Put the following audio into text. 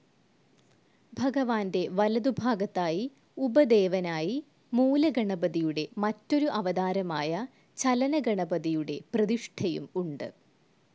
ഭഗവാന്റെ വലതുഭാഗത്തായി ഉപദേവനായി മൂലഗണപതിയുടെ മറ്റൊരു അവതാരമായ ചലനഗണപതിയുടെ പ്രതിഷ്ഠയും ഉണ്ട്.